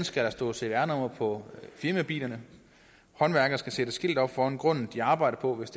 skal der stå cvr nummer på firmabilerne håndværkere skal sætte skilte op foran grunden de arbejder på hvis